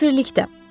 Səfirlikdə.